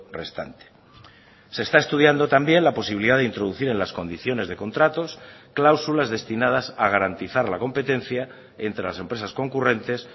restante se está estudiando también la posibilidad de introducir en las condiciones de contratos cláusulas destinadas a garantizar la competencia entre las empresas concurrentes